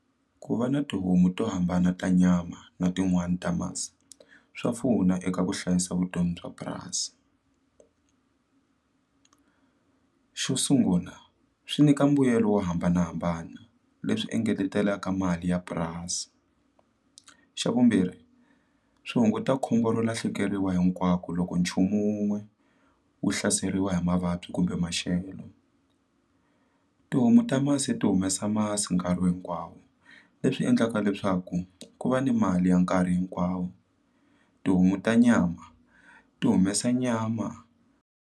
Ku va na tihomu to hambana ta nyama na tin'wani ta masi swa pfuna eka ku hlayisa vutomi bya purasi xo sungula swi nyika mbuyelo wo hambanahambana leswi engetelaka mali ya purasi xa vumbirhi swi hunguta khombo ro lahlekeriwa hinkwako loko nchumu wun'we wu hlaseriwa hi mavabyi kumbe maxelo tihomu ta masi ti humesa masi nkarhi hinkwawo leswi endlaka leswaku ku va ni mali ya nkarhi hinkwawo tihomu ta nyama ti humesa nyama.